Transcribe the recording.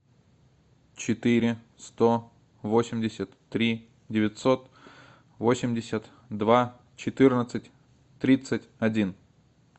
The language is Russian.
четыре сто восемьдесят три девятьсот восемьдесят два четырнадцать тридцать один